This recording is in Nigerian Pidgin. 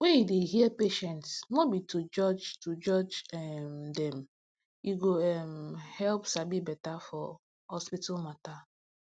when you dey hear patients no be to judge to judge um dem e go um help sabi beta for hospital matter